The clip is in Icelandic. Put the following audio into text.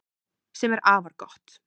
Sem er afar gott